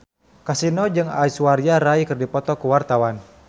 Kasino jeung Aishwarya Rai keur dipoto ku wartawan